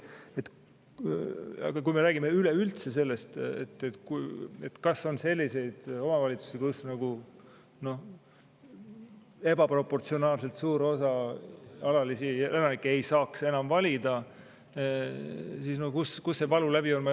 Ent kui me räägime üleüldse sellest, kas on selliseid omavalitsusi, kus ebaproportsionaalselt suur osa alalisi elanikke ei saaks enam valida, siis ma ei oska ütelda, kus see valulävi on.